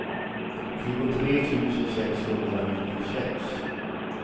tjugotre tusen sexhundranittiosex